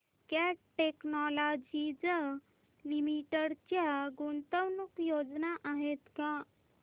cat technologies limited च्या गुंतवणूक योजना आहेत का